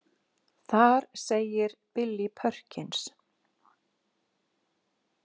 Þar segir Billy Perkins.